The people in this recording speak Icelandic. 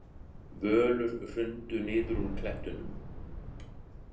Völur hrundu niður úr klettunum.